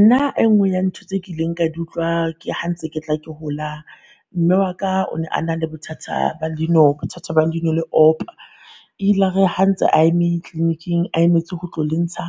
Nna e nngwe ya ntho tse ke ileng ka di utlwa ke ha ntse ke tla ke hola, mme waka o ne a na le bothata ba leino bothata ba leino le opa. E ilare ha ntse a eme clinic-eng a emetse ho tlo le ntsha,